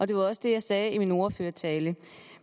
det var også det jeg sagde i min ordførertale